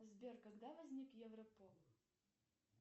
сбер когда возник европол